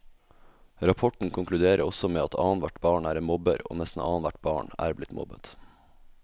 Rapporten konkluderer også med at annethvert barn er en mobber, og nesten annethvert barn er blitt mobbet.